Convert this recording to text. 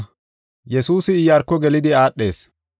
Yesuusi Iyaarko gelidi aadhees.